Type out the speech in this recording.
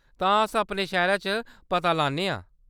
तां, अस अपने शैह्‌रा च पता लान्ने आं ?